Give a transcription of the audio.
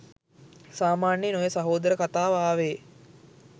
සාමාන්‍යයෙන් ඔය සහෝදර කතාව ආවෙ